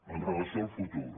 amb relació al futur